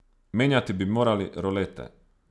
Menjati bi moral rolete.